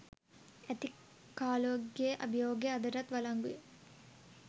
ඇති කාලෝගෙ අභියෝගය අදටත් වලංගුයි